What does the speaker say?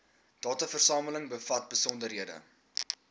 dataversameling bevat besonderhede